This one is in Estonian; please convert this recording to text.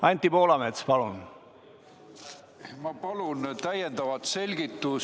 Anti Poolamets, palun!